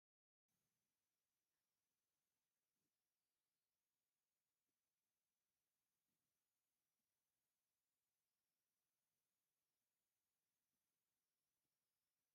ኣብዚ ዝረአ ዘሎ ሓደ ሰብ ብመብራህቲ ዝበርህ ኤሌክትሪክ ኪቦርድ ክጻወት ይርአ። እዚ ሙዚቃዊ ሃዋህውን ድሙቕ መብራህትን ዘለዎ ቦታ ዘርኢ እዩ።